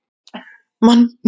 Manni líður stórum betur.